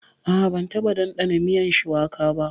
A'a ban taɓa ɗandana miyan shuwaka ba.